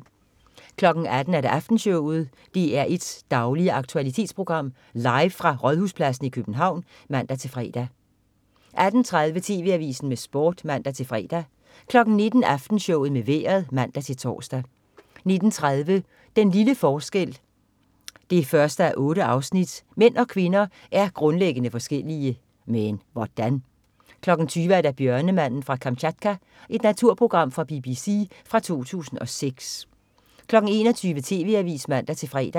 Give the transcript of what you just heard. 18.00 Aftenshowet. DR1s daglige aktualitetsprogram, live fra Rådhuspladsen i København (man-fre) 18.30 TV AVISEN med Sport (man-fre) 19.00 Aftenshowet med vejret (man-tors) 19.30 Den lille forskel 1:8. Mænd og kvinder er grundlæggende forskellige. Men hvordan? 20.00 Bjørnemanden fra Kamtjatka. Naturprogram fra BBC fra 2006 21.00 TV AVISEN (man-fre)